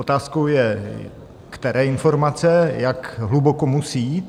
Otázkou je, které informace, jak hluboko musí jít.